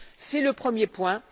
C'est le premier point.